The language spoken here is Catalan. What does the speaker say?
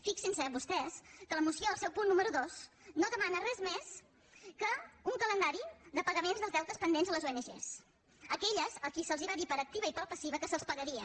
fixin se vostès que la moció al seu punt número dos no demana res més que un calendari de pagaments dels deutes pendents a les ong aquelles a qui se’ls va dir per activa i per passiva que se’ls pagaria